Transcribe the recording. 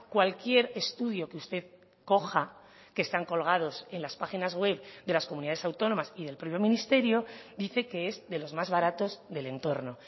cualquier estudio que usted coja que están colgados en las páginas webs de las comunidades autónomas y del propio ministerio dice que es de los más baratos del entorno